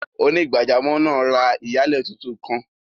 Onígbàjàmọ́ naa rá iyalẹ̀ tuntun kan.